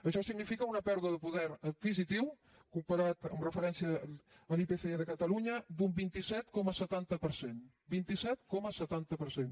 això significa una pèrdua de poder adquisitiu comparat amb referència a l’ipc de catalunya d’un vint set coma setanta per cent vint set coma setanta per cent